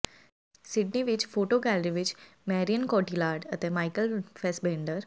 Sydney ਵਿੱਚ photo gallery ਵਿੱਚ Marion Cotillard ਅਤੇ ਮਾਈਕਲ ਫੈਸਬੇਂਡਰ